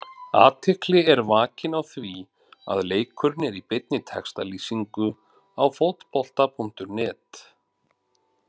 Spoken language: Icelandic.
Athygli er vakin á því að leikurinn er í beinni textalýsingu á Fótbolta.net.